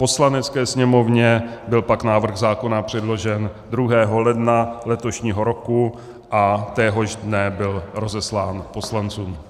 Poslanecké sněmovně byl pak návrh zákona předložen 2. ledna letošního roku a téhož dne byl rozeslán poslancům.